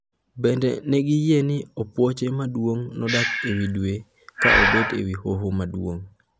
Bende negiyie ni opuoche maduong' nodak ewi Dwe ka obet ewi hoho maduong'.